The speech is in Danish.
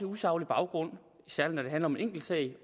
usaglig baggrund særlig når det handler om en enkeltsag